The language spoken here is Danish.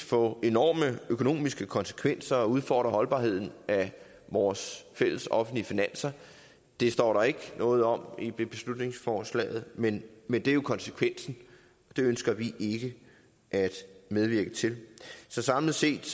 få enorme økonomiske konsekvenser og udfordre holdbarheden af vores fælles offentlige finanser det står der ikke noget om i beslutningsforslaget men men det er jo konsekvensen og det ønsker vi ikke at medvirke til så samlet set